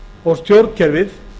og stjórnkerfið